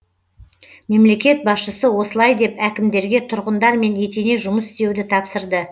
мемлекет басшысы осылай деп әкімдерге тұрғындармен етене жұмыс істеуді тапсырды